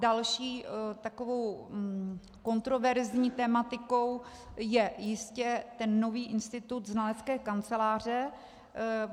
Další takovou kontroverzní tematikou je jistě ten nový institut znalecké kanceláře.